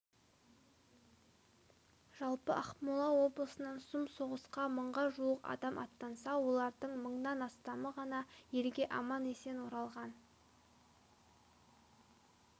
жалпы ақмола облысынан сұм соғысқа мыңға жуық адам аттанса олардың мыңнан астамы ғана елге аман-есен оралған